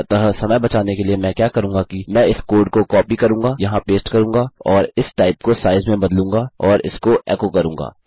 अतः समय बचाने के लिए मैं क्या करूंगा कि मैं इस कोड को कॉपी करूँगा यहाँ पेस्ट करूँगा और इस टाइप को साइज में बदलूँगा और इसको एको करूँगा